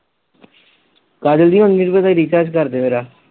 ਕਾਜਲ ਦੀ ਹੁਣ recharge ਕਰਦੇ ਮੇਰਾ